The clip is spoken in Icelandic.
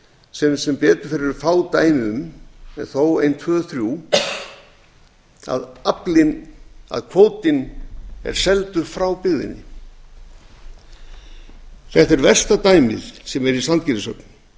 sem sem betur fer eru fá dæmi um en þó ein tvö þrjú að kvótinn er seldur frá byggðinni þetta er versta dæmið sem er í sandgerðishöfn